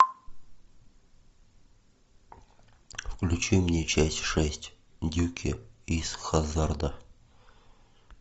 включи мне часть шесть дюки из хаззарда